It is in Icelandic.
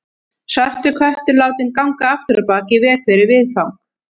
Svartur köttur látinn ganga afturábak í veg fyrir viðfang.